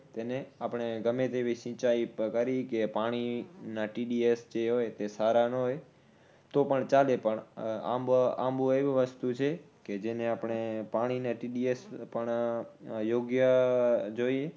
તેને આપણે ગમે તેવી સિંચાઇ કરી કે પાણી ના TDS જે હોય તે સારા નો હોય તો પણ ચાલે પણ આંબો, આંબો એવું વસ્તુ છે કે જેને આપણે પાણીને TDS પણ યોગ્ય જોઈએ